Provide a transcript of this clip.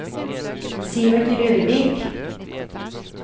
Sivert Rørvik